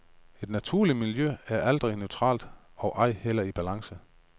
Et naturligt miljø er aldrig neutralt og ej heller i balance.